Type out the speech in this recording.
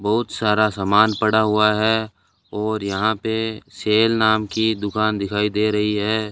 बहुत सारा समान पड़ा हुआ है और यहां पे सेल नाम की दुकान दिखाई दे रही है।